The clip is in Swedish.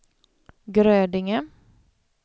Grödinge